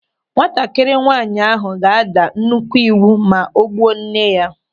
Nwatakịrị nwaanyị ahụ ga-ada nnukwu ịwụ ma o gbuo nne ya.